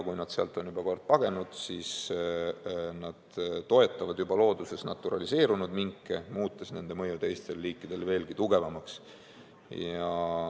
Farmidest põgenenud toetavad juba looduses naturaliseerinud minke, muutes nende mõju teistele liikidele veelgi tugevamaks.